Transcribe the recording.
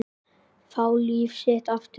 Fá líf sitt aftur.